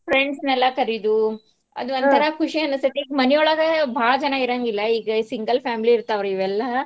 ಮಕ್ಳಿಗೆ Friends ನೆಲ್ಲಾ ಕರೀಯಿದು ಅದೋಂತರಾ ಖುಷಿ ಅನ್ಸ್ತೇತಿ. ಈಗ್ ಮನಿ ಒಳ್ಗ ಭಾಳ್ ಜನಾ ಇರಂಗಿಲ್ಲ ಈಗ single family ಇರ್ತಾವ್ ಇವೆಲ್ಲಾ.